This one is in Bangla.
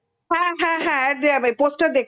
হ্যা হ্যা হ্যা আব্বে আবে poster দেখছিল